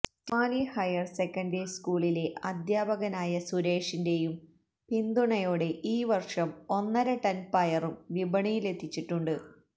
Thiruvali higher secondary സ്കൂളിലെ അധ്യാപകനായ സുരേഷിന്റെയും പിന്തുണയോടെ ഈ വര്ഷം ഒന്നരടണ് പയറും വിപണിയിലെത്തിച്ചിട്ടുണ്ട്